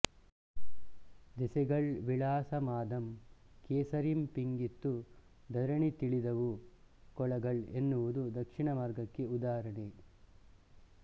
ದೆಸೆಗಳ್ ವಿಳಾಸಮಾದಂ ಕೆಸರಿಂ ಪಿಂಗಿತ್ತು ಧರಣಿ ತಿಳಿದವು ಕೊಳಗಳ್ಎನ್ನುವುದು ದಕ್ಷಿಣಮಾರ್ಗಕ್ಕೆ ಉದಾಹರಣೆ